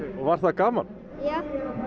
var það gaman já